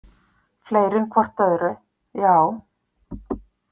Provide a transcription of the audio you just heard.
Fleiri en hvort öðru, já.